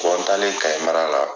n taale Kayi mara la.